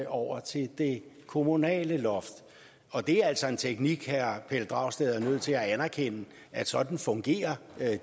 over til det kommunale loft og det er altså en teknik herre pelle dragsted er nødt til at anerkende sådan fungerer